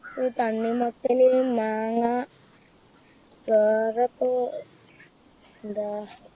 തണ്ണിമത്തന് മാങ്ങ വേറെപ്പോ എന്താ